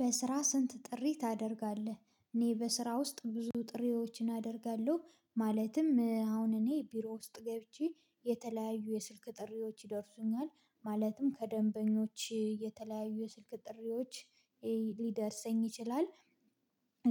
በስራ ስንት? ጥሪ ታደርጋለህ እኔ በስራ ውስጥ ብዙ ጥሪዎችን አደርጋለሁ ማለትም አሁን እኔ ቢሮ ውስጥ ገብቼ የተለያዩ የስልክ ጥሪዎች ይደርሱኛል ማለትም ከደንበኞች የተለያዩ ስልክ ጥሪዎች ሊደርሰኝ ይችላል።